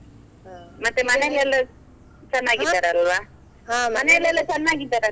ಹಾ .